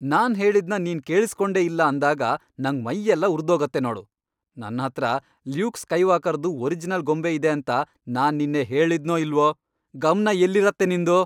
ನಾನ್ ಹೇಳಿದ್ನ ನೀನ್ ಕೇಳಿಸ್ಕೊಂಡೇ ಇಲ್ಲ ಅಂದಾಗ ನಂಗ್ ಮೈಯೆಲ್ಲ ಉರ್ದೋಗತ್ತೆ ನೋಡು. ನನ್ಹತ್ರ ಲ್ಯೂಕ್ ಸ್ಕೈವಾಕರ್ದು ಒರಿಜಿನಲ್ ಗೊಂಬೆ ಇದೆ ಅಂತ ನಾನ್ ನಿನ್ನೆ ಹೇಳಿದ್ನೋ ಇಲ್ವೋ? ಗಮ್ನ ಎಲ್ಲಿರತ್ತೆ ನಿಂದು?!